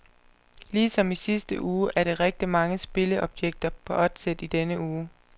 Ligesom i sidste uge er der rigtigt mange spilleobjekter på oddset i denne uge.